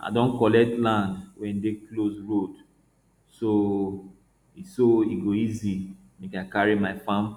i don collect land wey dey close road so e so e go easy make i carry my farm